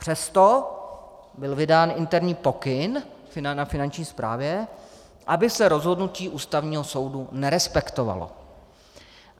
Přesto byl vydán interní pokyn na Finanční správě, aby se rozhodnutí Ústavního soudu nerespektovalo.